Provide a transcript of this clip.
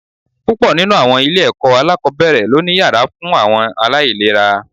Púpọ̀ nínú àwọn ilé-ẹ̀kọ́ alákọ̀ọ́bẹ̀rẹ̀ ló ni yàrá fún àwọn aláìléra